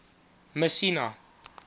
messina